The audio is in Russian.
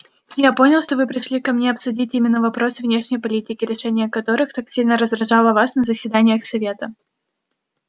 я понял что вы пришли ко мне обсудить именно вопросы внешней политики решение которых так сильно раздражало вас на заседаниях совета